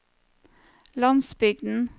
landsbygden